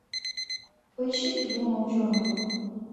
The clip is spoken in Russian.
поищи трибуна ученого